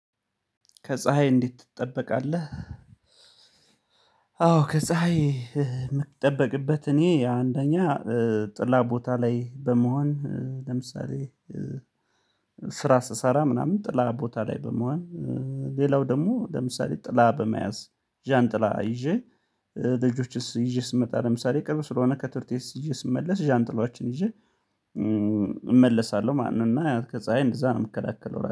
ከፀሀይ እንዴት ትጠበቃለህ? አዎ ከፀሀይ የምትጠበቅበት እኔ አንደኛ ጥላ ቦታ ላይ በመሆን ለምሳሌ ስራ ስሰራ ምናምን ጥላ ቦታ ላይ በመሆን ሌላው ደግሞ ለምሳሌ ጥላ በመያዝ ዣንጥላ ይዤ ልጆችስ ይዤ ስመጣ ለምሳሌ ቅርብ ስለሆነ ከትርት ይዤ ስመለስ ዣንጥላዎችን ይዤ እመለሳለሁ ማለት ነው እና ከፀሀይ እንደዛ ነው የምከለከለው